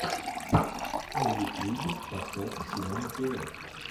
на ютьюбе поставь симона тв